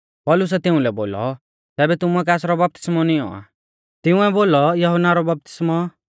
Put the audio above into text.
पौलुसै तिउंलै बोलौ तैबै तुमुऐ कासरौ बपतिस्मौ नियौं आ तिंउऐ बोलौ यहुन्ना रौ बपतिस्मौ